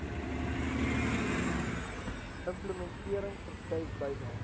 implementering verskuif byna